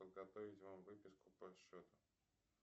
подготовить вам выписку по счету